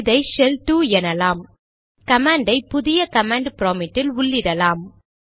இதை ஷெல் 2 எனலாம் கமாண்ட் ஐ புதிய கமாண்ட் ப்ராம்ப்ட் இல் உள்ளிடலாம்